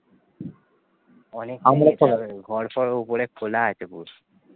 ঘর পর উপরে খুল আছে